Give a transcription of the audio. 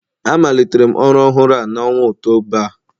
Amalitere m ọrụ ọhụrụ a n'ọnwa Ọktoba a